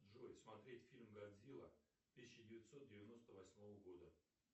джой смотреть фильм годзилла тысяча девятьсот девяносто восьмого года